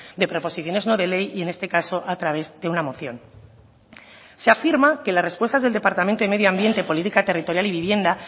de proposiciones no de ley y en este caso a través de una moción se afirma que la respuesta del departamento de medioambiente política territorial y vivienda